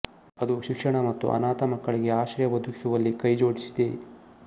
ಅದು ಶಿಕ್ಷಣ ಮತ್ತು ಅನಾಥ ಮಕ್ಕಳಿಗೆ ಆಶ್ರಯ ಒದಗಿಸುವಲ್ಲಿ ಕೈಜೋಡಿಸಿದೆ